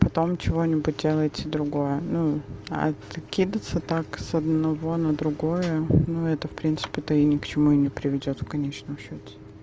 потом чего-нибудь делаете другое ну а ты кидаться так с одного на другое ну это в принципе то и ни к чему и не приведёт в конечном счёте